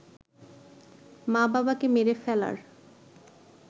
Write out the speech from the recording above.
মা-বাবাকে মেরে ফেলার